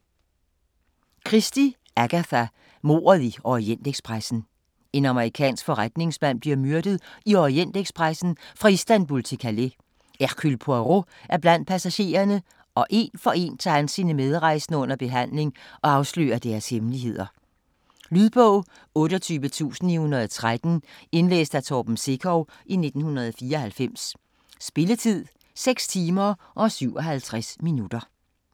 Christie, Agatha: Mordet i Orientekspressen En amerikansk forretningsmand bliver myrdet i Orientekspressen fra Istanbul til Calais. Hercule Poirot er blandt passagererne, og én for én tager han sine medrejsende under behandling og afslører deres hemmeligheder. Lydbog 28913 Indlæst af Torben Sekov, 1994. Spilletid: 6 timer, 57 minutter.